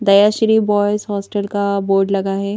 दया Shri boys hostel का board लगा है।